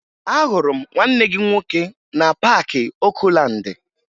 Ahụrụ m nwanne gị nwoke na Paakị Okulaandị